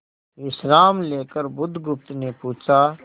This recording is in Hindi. विश्राम लेकर बुधगुप्त ने पूछा